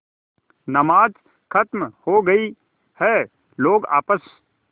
नमाज खत्म हो गई है लोग आपस